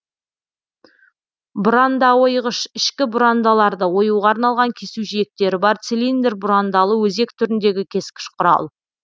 бұрандаойғыш ішкі бұрандаларды оюға арналған кесу жиектері бар цилиндр бұрандалы өзек түріндегі кескіш құрал